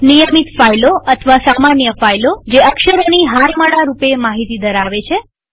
નિયમિત ફાઈલો અથવા સામાન્ય ફાઈલોજે અક્ષરોની હારમાળા રૂપે માહિતી ધરાવે છે